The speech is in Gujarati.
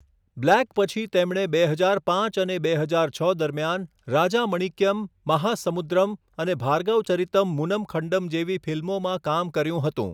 બ્લેક પછી તેમણે બે હજાર પાંચ અને બે હજાર છ દરમિયાન રાજામણિક્યમ, મહાસમુદ્રમ અને ભાર્ગવચરિતમ્ મૂનમ ખંડમ જેવી ફિલ્મોમાં કામ કર્યું હતું.